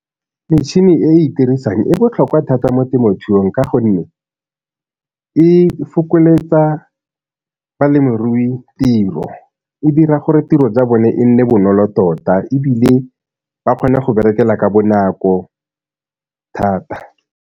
Metšhini e e itirisang e botlhokwa thata mo temothuong ka gonne e fokoletsa balemirui tiro, e dira gore tiro tsa bone e nne bonolo tota ebile ba kgone go berekela ka bonako thata.